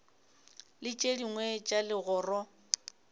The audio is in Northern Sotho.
le tše dingwe tša legoro